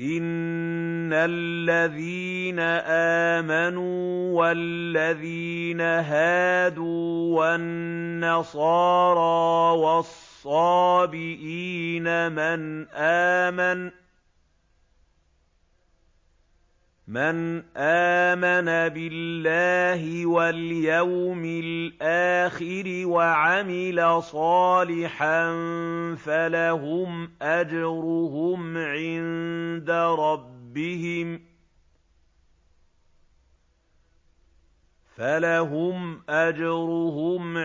إِنَّ الَّذِينَ آمَنُوا وَالَّذِينَ هَادُوا وَالنَّصَارَىٰ وَالصَّابِئِينَ مَنْ آمَنَ بِاللَّهِ وَالْيَوْمِ الْآخِرِ وَعَمِلَ صَالِحًا فَلَهُمْ أَجْرُهُمْ